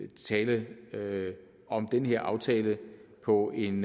tale om den her aftale på en